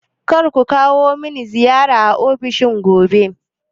Kar ku kawo mani ziyara a ofishina gobe.